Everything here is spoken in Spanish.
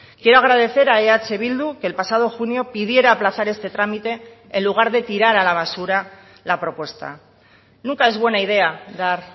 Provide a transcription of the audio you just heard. quiero agradecer a eh bildu que el pasado junio pidiera aplazar este trámite en lugar de tirar a la basura la propuesta nunca es buena idea dar